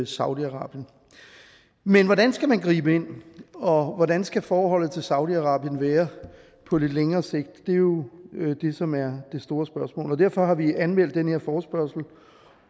saudi arabien men hvordan skal man gribe ind og hvordan skal forholdet til saudi arabien være på lidt længere sigt det er jo det som er det store spørgsmål og derfor har vi anmeldt den her forespørgsel